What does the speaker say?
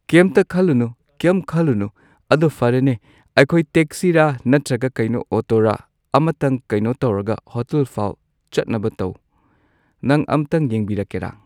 ꯀꯩꯝꯇ ꯈꯜꯂꯨꯅꯨ ꯀꯩꯝ ꯈꯜꯂꯨꯅꯨ ꯑꯗꯣ ꯐꯔꯦꯅꯦ ꯑꯩꯈꯣꯏ ꯇꯦꯛꯁꯤꯔ ꯅꯠꯇ꯭ꯔꯒ ꯀꯩꯅꯣ ꯑꯣꯇꯣꯔ ꯑꯝꯇꯪ ꯀꯩꯅꯣ ꯇꯧꯔꯒ ꯍꯣꯇꯦꯜꯐꯥꯎ ꯆꯠꯅꯕ ꯇꯧ ꯅꯪ ꯑꯝꯇꯪ ꯌꯦꯡꯕꯤꯔꯛꯀꯦꯔꯥ꯫